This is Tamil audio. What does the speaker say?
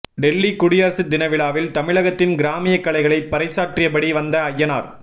டெல்லி குடியரசு தினவிழாவில் தமிழகத்தின் கிராமிய கலைகளை பறைசாற்றியபடி வந்த அய்யனார்